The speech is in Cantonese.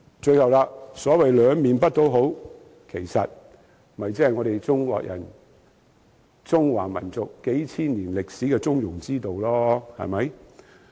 最後，所謂兩面不討好，無非是中華民族在數千年歷史中倡議的中庸之道。